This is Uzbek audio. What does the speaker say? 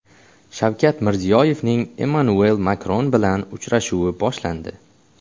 Shavkat Mirziyoyevning Emmanuel Makron bilan uchrashuvi boshlandi.